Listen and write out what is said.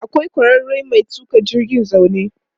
Akwai ƙwararren mai tuƙa jirgin zaune.